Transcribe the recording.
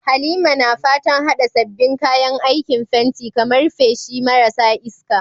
Halima na fatan haɗa sabbin kayan aikin fenti, kamar feshi marasa iska,